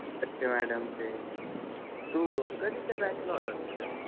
Madam ते. तू कधीच्या बॅचला होता तिथं?